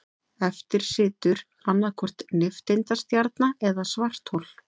Eftir situr annaðhvort nifteindastjarna eða svarthol.